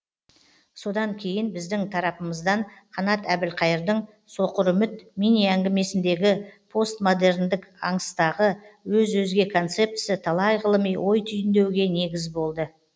содан кейін біздің тарапымыздан қанат әбілқайырдың соқыр үміт мини әңгімесіндегі постмодерндік аңыстағы өз өзге концептісі талай ғылыми ой түйіндеуге негіз болды